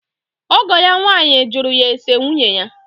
ọgọ ya nwaanyị jụrụ ya ese nwunye ya.